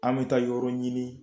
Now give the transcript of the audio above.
An bɛ taa yɔrɔ ɲini